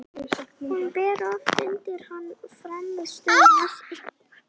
Hún ber oft undir hann frammistöðu sína í leikjum.